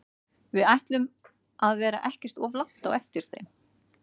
Við ætlum að vera ekkert of langt á eftir þeim.